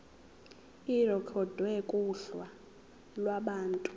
irekhodwe kuhla lwabantu